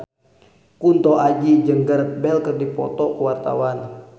Kunto Aji jeung Gareth Bale keur dipoto ku wartawan